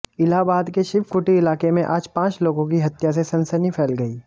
इलाहबाद के शिवकुटी इलाके में आज पांच लोगों की हत्या से सनसनी फ़ैल गयी